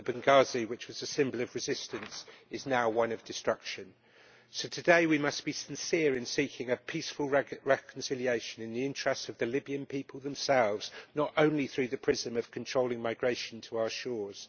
Benghazi, which was a symbol of resistance, is now one of destruction. So today we must be sincere in seeking a peaceful reconciliation in the interests of the Libyan people themselves, and not only through the prism of controlling migration to our shores.